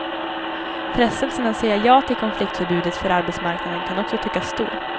Frestelsen att säga ja till konfliktförbudet för arbetsmarknaden kan också tyckas stor.